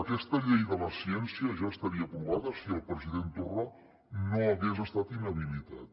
aquesta llei de la ciència ja estaria aprovada si el president torra no hagués estat inhabilitat